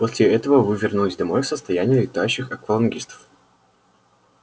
после этого вы вернулись домой в состоянии летающих аквалангистов